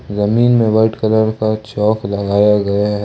जमीन में white colour का चॉक लगाया गया है।